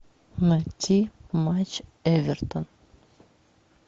найти матч эвертон